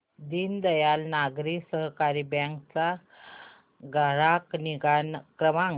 दीनदयाल नागरी सहकारी बँक चा ग्राहक निगा क्रमांक